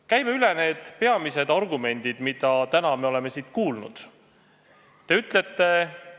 Käime läbi peamised argumendid, mida me täna siin kuulnud oleme.